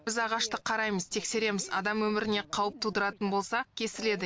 біз ағашты қараймыз тексереміз адам өміріне қауіп тудыратын болса кесіледі